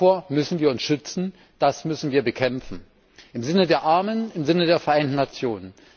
Davor müssen wir uns schützen, das müssen wir bekämpfen im Sinne der Armen, im Sinne der Vereinten Nationen.